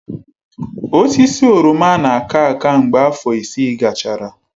Osisi oroma na-aka aka mgbe afọ isii gachara.